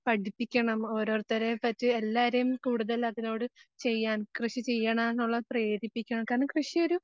പഠിപ്പിക്കണം ഓരോരുത്തരെ പറ്റി എല്ലാരെയും കൂടുതൽ അതിനോട് ചെയ്യാൻ കൃഷി ചെയ്യണോനുള്ള പ്രേരിപ്പിക്കണം. കാരണം, കൃഷിയൊരു